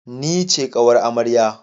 Ni ce ƙawar amarya